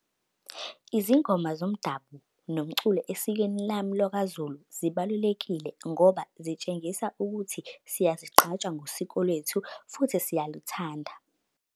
Izingoma zomdabu nomculo esikweni lami lwakwaZulu zibalulekile ngoba zitshengisa ukuthi siyazigqaja ngosiko lwethu futhi siyaluthanda.